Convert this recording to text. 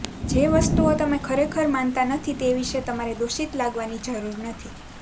જે વસ્તુઓ તમે ખરેખર માનતા નથી તે વિશે તમારે દોષિત લાગવાની જરૂર નથી